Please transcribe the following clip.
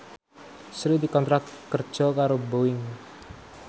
Sri dikontrak kerja karo Boeing